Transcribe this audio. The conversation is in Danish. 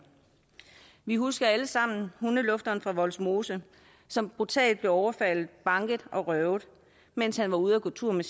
vi husker alle sammen hundelufteren fra vollsmose som brutalt blev overfaldet banket og røvet mens han var ude at gå tur med